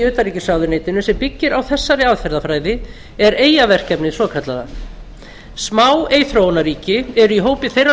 utanríkisráðuneytinu sem byggir á þessari aðferðarfræði er eyjaverkefnið svokallaða smáeyþróunarríki eru í hópi þeirra